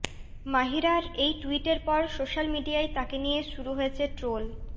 মাহিরার এই ট্যুইটের পর সোশ্যাল মিডিয়ায় তাঁকে নিয়ে শুরু হয়েছে ট্রোল